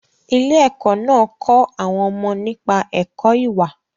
Ilé-ẹkọ́ náà kọ́ àwọn ọmọ nípa ẹ̀kọ́ ìwà.